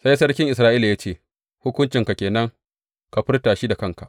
Sai sarkin Isra’ila ya ce, Hukuncinka ke nan, ka furta shi da kanka.